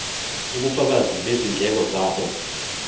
ubufakazi bezindleko zabo